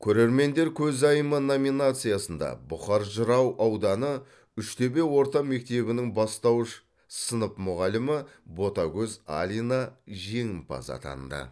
көрермендер көзайымы номинациясында бұқар жырау ауданы үштөбе орта мектебінің бастауыш сынып мұғалімі ботагөз алина жеңімпаз атанды